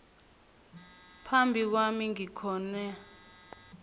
phambi kwami ngikhona